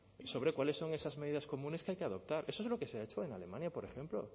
sobre cuáles son esas medidas comunes que hay que adoptar eso es lo que se ha hecho en alemania por ejemplo